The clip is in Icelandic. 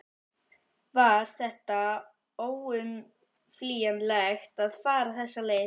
Var þetta óumflýjanlegt að fara þessa leið?